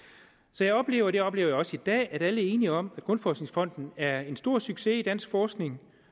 så jeg oplever og det oplever jeg også i dag at alle er enige om at danmarks grundforskningsfond er en stor succes i dansk forskning